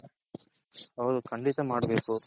ಹೌದು ಕಂಡಿತ ಮಾಡ್ಬೇಕು.